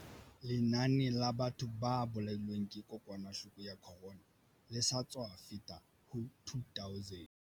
Lenane la batho ba bolailweng ke kokwanahloko ya corona le sa tswa feta ho 2 000.